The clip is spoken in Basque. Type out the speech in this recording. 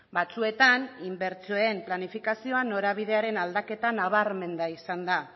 batzuetan inbertsioen planifikazioan norabidearen aldaketa nabarmena izan da